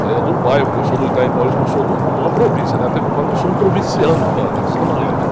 Saia do bairro, porque eu sou do Itaim Paulista, mas sou de um, de uma província, até que eu falo que eu sou um provinciano da, da Zona Leste.